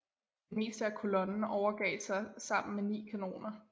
Det meste af kolonnen overgav sig sammen med ni kanoner